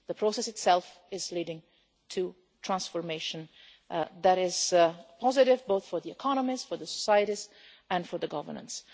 The process itself is leading to transformation that is positive, both for the economies and for the societies and for the governance.